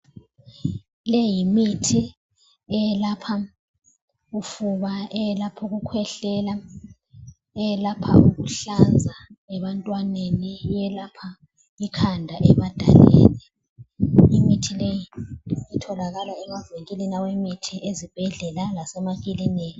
Le yimithi eyelapha ufuba, eyelaph' ukukhwehlela, eyelapha ukuhlanza ebantwaneni, eyelapha ikhanda ebadaleni. Imithi leyi itholakala emavinkilini awemithi ezibhedlela lasemakiliniki.